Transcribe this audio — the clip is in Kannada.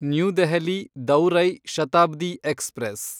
ನ್ಯೂ ದೆಹಲಿ ದೌರೈ ಶತಾಬ್ದಿ ಎಕ್ಸ್‌ಪ್ರೆಸ್